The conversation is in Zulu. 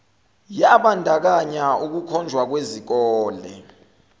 yabandakanya ukukhonjwa kwezikole